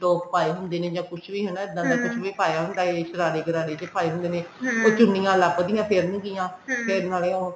top ਪਾਏ ਹੁੰਦੇ ਨੇ ਜਾ ਕੁੱਛ ਵੀ ਹਨਾ ਇੱਦਾਂ ਦਾ ਕੁੱਛ ਵੀ ਪਾਇਆ ਹੁੰਦਾ ਹਨਾ ਇਸ ਤਰ੍ਹਾਂ ਦੇ ਸ਼ਰਾਰੇ ਗਰਾਰੇ ਪਾਏ ਹੁੰਦੇ ਨੇ ਉਹ ਚੁੰਨੀਆ ਲਬਦੀਆਂ ਫਿਰਨ ਗਿਆਂ ਫੇਰ ਨਾਲੇ ਉਹ